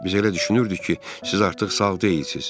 Biz elə düşünürdük ki, siz artıq sağ deyilsiniz.